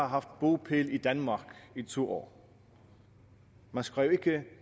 haft bopæl i danmark i to år man skrev ikke at